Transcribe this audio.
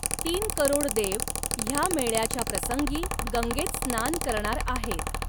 तीन करोड देव ह्या मेळ्याच्या प्रसंगी गंगेत स्नान करणार आहेत.